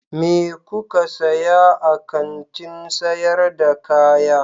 Me kuka saya a kantin sayar da kaya?